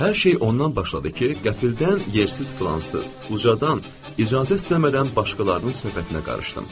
Hər şey ondan başladı ki, qəflətən yersiz fransız ucadan icazə istəmədən başqalarının söhbətinə qarışdı.